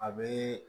A bɛ